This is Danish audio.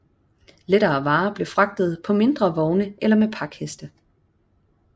Lettere varer blev fragtet på mindre vogne eller med pakheste